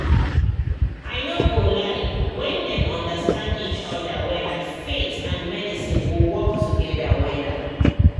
i no go lie when dem understand each other wella faith and medicine go work together wella